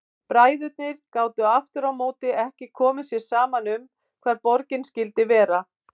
Bræðurnir gátu aftur á móti ekki komið sér saman um hvar borgin skyldi vera.